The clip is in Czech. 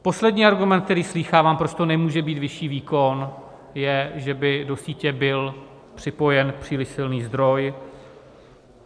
Poslední argument, který slýchávám, proč to nemůže být vyšší výkon, je, že by do sítě byl připojen příliš silný zdroj.